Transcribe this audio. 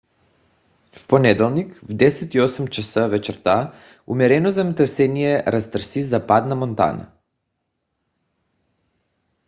в понеделник в 10:08 ч. вечерта умерено земетресение разтърси западна монтана